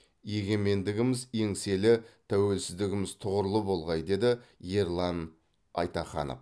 егемендігіміз еңселі тәуелсіздігіміз тұғырлы болғай деді ерлан айтаханов